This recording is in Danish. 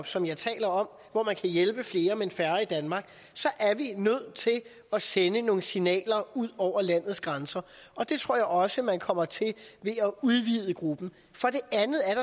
som jeg taler om hvor man kan hjælpe flere men færre i danmark så er vi nødt til at sende nogle signaler ud over landets grænser og det tror jeg også man kommer til ved at udvide gruppen for det andet er